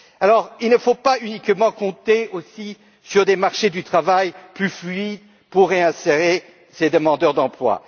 Alors, il ne faut pas uniquement compter sur des marchés du travail plus fluides pour réinsérer ces demandeurs d'emploi.